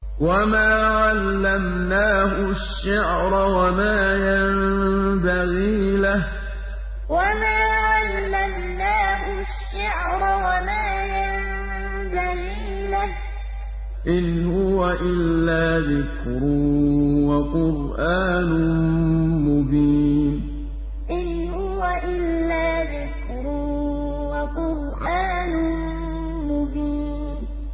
وَمَا عَلَّمْنَاهُ الشِّعْرَ وَمَا يَنبَغِي لَهُ ۚ إِنْ هُوَ إِلَّا ذِكْرٌ وَقُرْآنٌ مُّبِينٌ وَمَا عَلَّمْنَاهُ الشِّعْرَ وَمَا يَنبَغِي لَهُ ۚ إِنْ هُوَ إِلَّا ذِكْرٌ وَقُرْآنٌ مُّبِينٌ